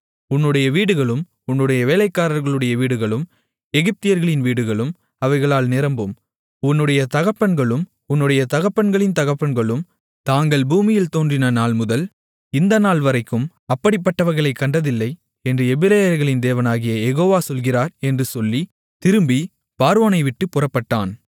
உன்னுடைய வீடுகளும் உன்னுடைய வேலைக்காரர்களுடைய வீடுகளும் எகிப்தியர்களின் வீடுகளும் அவைகளால் நிரம்பும் உன்னுடைய தகப்பன்களும் உன்னுடைய தகப்பன்களின் தகப்பன்களும் தாங்கள் பூமியில் தோன்றின நாள்முதல் இந்த நாள்வரைக்கும் அப்படிப்பட்டவைகளைக் கண்டதில்லை என்று எபிரெயர்களின் தேவனாகிய யெகோவா சொல்லுகிறார் என்று சொல்லி திரும்பி பார்வோனை விட்டுப் புறப்பட்டான்